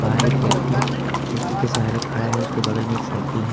हर एक व्यक्ति खिड़की के सारे खड़ा है उसके बगल में एक साइकिल है।